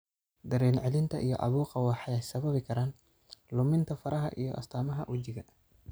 Dareen-celinta iyo caabuqa waxay sababi karaan luminta faraha iyo astaamaha wejiga.